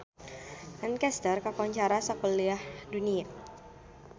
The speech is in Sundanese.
Lancaster kakoncara sakuliah dunya